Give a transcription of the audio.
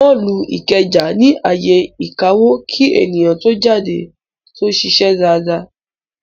Mọ́ọ̀lù Ìkẹjà ní ààyè ìkawó kí èèyàn tó jáde tó ṣiṣẹ́ dáadáa